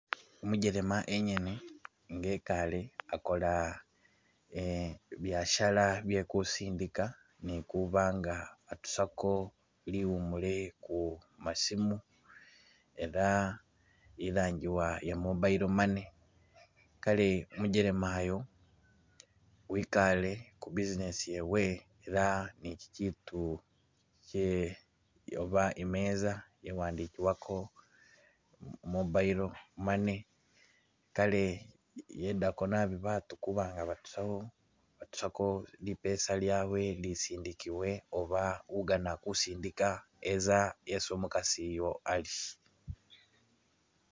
Umujelema engene nga ekaale akola eh byasara bye kusindika ne kuba nga atusako liwumule ku masimu ela ilangibwa iye mobile money, kaale umujelema uyu wikaale ku business yewe ela ne kikiitu kye oba imeeza iye wandikibwako Mobile money , kaale iyedako naabi baatu kuba nga batusako batusako lipeesa lyabwe ilisindikibwile oba ugaana kusindika yeza isi umukasi uyo ali.